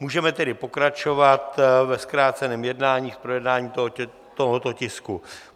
Můžeme tedy pokračovat ve zkráceném jednání s projednáním tohoto tisku.